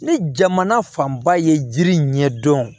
Ni jamana fanba ye jiri ɲɛdɔn